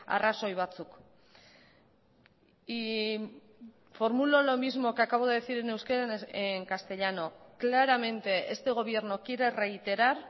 arrazoi batzuk y formulo lo mismo que acabo de decir en euskera en castellano claramente este gobierno quiere reiterar